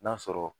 N'a sɔrɔ